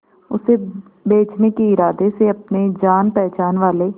उसे बचने के इरादे से अपने जान पहचान वाले